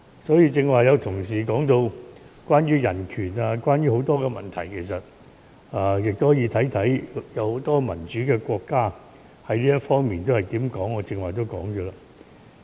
所以，就剛才有些同事說到關於人權或其他問題，大家可以看看一些民主國家對這問題的看法，與我剛才所說的不謀而合。